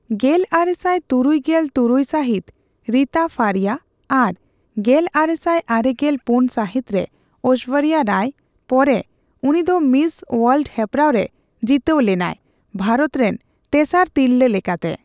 ᱜᱮᱞᱟᱨᱮᱥᱟᱭ ᱛᱩᱨᱩᱭ ᱜᱮᱞ ᱛᱩᱨᱩᱭ ᱥᱟᱦᱤᱛ ᱨᱤᱛᱟ ᱯᱷᱟᱨᱤᱭᱟ ᱟᱨ ᱜᱮᱞᱟᱨᱮᱥᱟᱭ ᱟᱨᱮᱜᱮᱞ ᱯᱩᱱ ᱥᱟᱦᱤᱛ ᱨᱮ ᱳᱥᱥᱚᱨᱡᱚ ᱨᱟᱭ ᱯᱚᱨᱮ ᱩᱱᱤᱫᱚ ᱢᱤᱥ ᱳᱣᱟᱞᱰ ᱦᱮᱯᱨᱟᱣ ᱨᱮ ᱡᱤᱛᱟᱹᱣ ᱞᱮᱱᱟᱭ ᱵᱷᱟᱨᱚᱛ ᱨᱮᱱ ᱛᱮᱥᱟᱨ ᱛᱤᱨᱞᱟᱹ ᱞᱮᱠᱟᱛᱮ ᱾